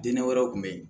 Dinɛ wɛrɛw kun be yen